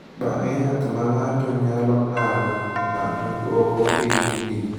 Bang’e, yath ma ng’ato nyalo ng’adogo ng’ato dwoko piny mogik.